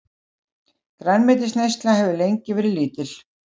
Grænmetisneyslan hefur lengi verið lítil.